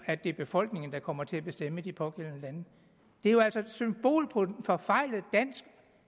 at det er befolkningen der måske kommer til at bestemme i de pågældende lande det er altså et symbol på en forfejlet dansk